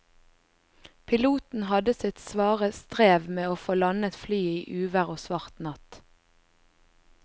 Piloten hadde sitt svare strev med å få landet flyet i uvær og svart natt.